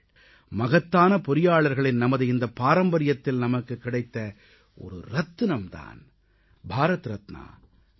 மகத்தான பொறியாளர்களின் நமது இந்தப் பாரம்பரியத்தில் நமக்குக் கிடைத்த ஒரு ரத்தினம் தான் பாரத ரத்னா டாக்டர் எம்